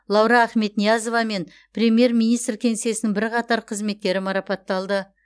лаура ахметниязова мен премьер министр кеңсесінің бірқатар қызметкері марапатталды